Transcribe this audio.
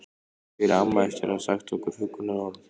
spyr amma eftir að hafa sagt nokkur huggunarorð.